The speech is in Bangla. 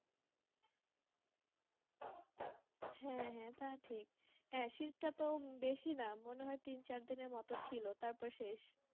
হ্যাঁ হ্যাঁ তা ঠিক হ্যাঁ শীত তাতো বেশি না মনে হয় তিন চার দিন মতো ছিল তারপর শেষ